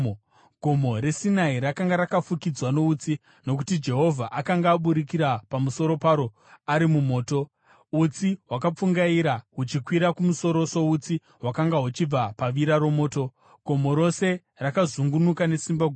Gomo reSinai rakanga rakafukidzwa noutsi, nokuti Jehovha akanga aburukira pamusoro paro ari mumoto. Utsi hwakapfungaira huchikwira kumusoro soutsi hwakanga huchibva pavira romoto, gomo rose rakazungunuka nesimba guru,